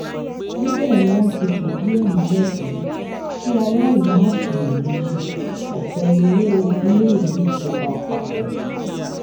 níbẹ ni wọn ti ń fìdìí ẹ múlẹ pé kí aráàlú má ṣiyèméjì ọfẹ lọwọ iléèwé ìjọba àpapọ